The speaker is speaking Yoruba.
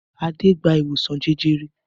Adé gba ìwòsàn jẹjẹrẹ?